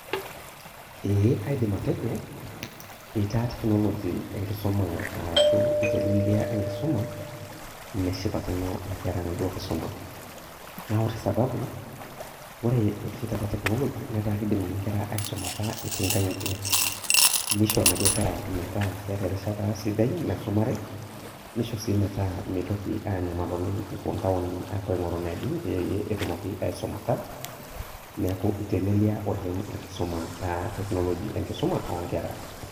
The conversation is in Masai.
Ee kaidim atejo eitaa technology enkisuma arashu itelelia enkisuma, neshipakino inkera enaduo kisuma. Na ore sababu, ore oshi taata technology netaa kidim inye nkera aisumata etii nkang'itie. Nisho naduo kera metaa keeta erishata sidai naisumare, nisho si metaa mitoki anyamal oleng epuo ntaoni apuo aing'oru neejing pee etumoki aisumata, neeku itelelia oleng enkisuma ah technology enkisuma onkera.